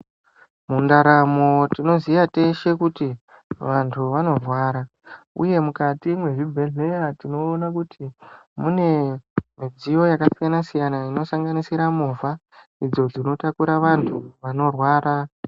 Mundaramo tinoziya teshe kuti vantu vanorwara, uye mukati mwezvibhedhleya tinoona kuti mune midziyo yakasiyana-siyana. Inosanganisira movha idzo dzinotakura vantu vanorwara.